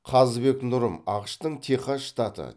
қазыбек нұрым ақш тың техас штаты